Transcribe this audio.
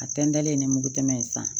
A tɛntɛlen ni mugu tɛmɛ in san